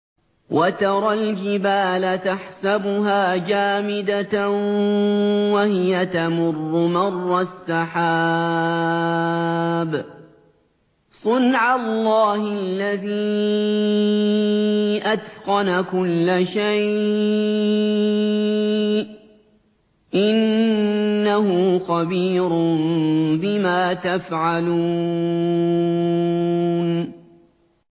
وَتَرَى الْجِبَالَ تَحْسَبُهَا جَامِدَةً وَهِيَ تَمُرُّ مَرَّ السَّحَابِ ۚ صُنْعَ اللَّهِ الَّذِي أَتْقَنَ كُلَّ شَيْءٍ ۚ إِنَّهُ خَبِيرٌ بِمَا تَفْعَلُونَ